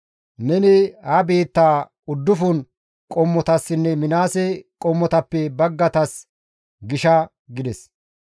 Neni ha biittaa uddufun qommotassinne Minaase qommotappe baggaytas gisha» gides.